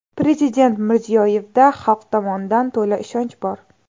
Prezident Mirziyoyevda xalq tomonidan to‘la ishonch bor.